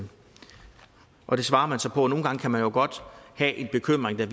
og det svarer man så på nogle gange kan man jo godt have en bekymring der